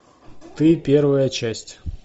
ты первая часть